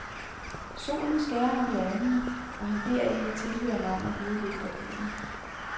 Solen skærer ham i øjnene, og han beder en af tilhører om at hive lidt i gardinet.